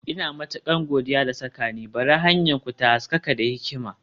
Ina matukar godiya da saka ni, Bari hanyarku ta haskaka da hikima.